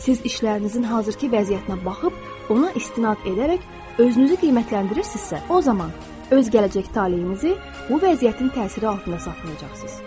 Siz işlərinizin hazırkı vəziyyətinə baxıb, ona istinad edərək özünüzü qiymətləndirirsinizsə, o zaman öz gələcək taleyinizi bu vəziyyətin təsiri altında saxlayacaqsınız.